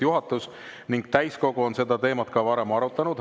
Juhatus ja täiskogu on seda teemat ka varem arutanud.